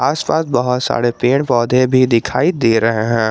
आसपास बहुत सारे पेड़ पौधे भी दिखाई दे रहे हैं।